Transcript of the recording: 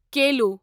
kilo